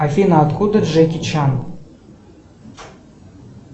афина откуда джеки чан